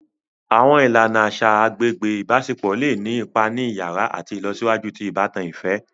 Awọn ìlànà aṣa agbègbè ibaṣepọ le ni ipá ni iyàrá àti ìlọsíwájú ti ìbátan ifẹ.